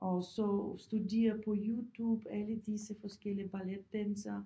Og så studere på YouTube alle disse forskellige balletdansere